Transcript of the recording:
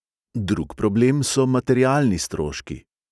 Drug problem so materialni stroški.